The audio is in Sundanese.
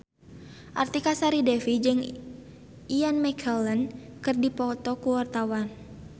Artika Sari Devi jeung Ian McKellen keur dipoto ku wartawan